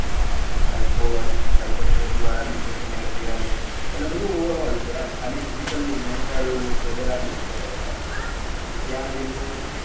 scologysychotherapy વાળા ભી session add કરેલા છે એટલે બધું ઓવ્ર્રેલ છે ખાલી physical નહી પણ mental વગેર ભી છે એમ